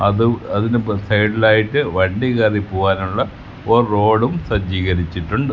അത് അതിൻ്റെ സൈഡിൽ ആയിട്ട് വണ്ടി കേറി പോകാനുള്ള ഒരു റോഡും സജ്ജീകരിച്ചിട്ടുണ്ട്.